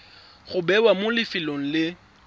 go bewa mo lefelong le